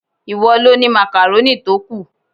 Ìwọ lo ni makaroni tó kù.